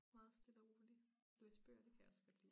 Meget stille og rolig læse bøger det kan jeg også godt lide